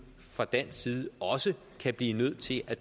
fra dansk side også kan blive nødt til at